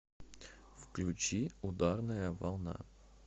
включи ударная волна